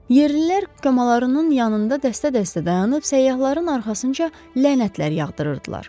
Yerlilər qamalarının yanında dəstə-dəstə dayanıb səyyahların arxasınca lənətlər yağdırırdılar.